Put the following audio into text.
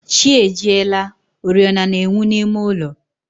Chi ejiela, oriọna na-enwu n'ime ụlọ